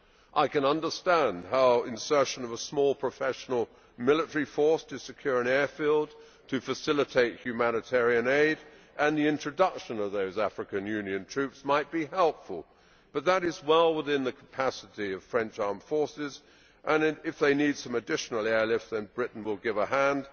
I can understand how insertion of a small professional military force to secure an airfield, to facilitate humanitarian aid and the introduction of those African Union troops might be helpful, but that is well within the capacity of French armed forces, and if they need some additional airlift then Britain will give a hand.